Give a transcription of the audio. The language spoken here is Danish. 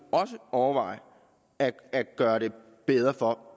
overveje at gøre det bedre for